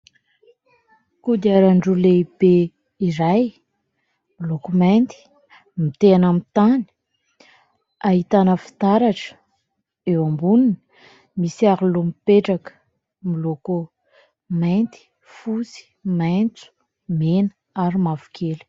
Kodiaran-droa lehibe iray miloko mainty mitehina amin'ny tany, ahitana fitaratra, eo amboniny misy aro-loha mipetraka miloko mainty, fosy, maitso, mena ary mavokely.